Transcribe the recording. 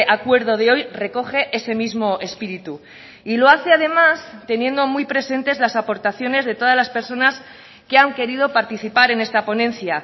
acuerdo de hoy recoge ese mismo espíritu y lo hace además teniendo muy presentes las aportaciones de todas las personas que han querido participar en esta ponencia